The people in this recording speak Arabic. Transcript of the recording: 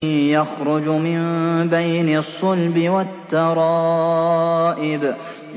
يَخْرُجُ مِن بَيْنِ الصُّلْبِ وَالتَّرَائِبِ